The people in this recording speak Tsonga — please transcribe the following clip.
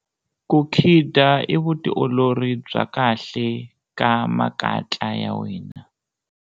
Ku khida i vutiolori bya kahle ka makatla ya wena.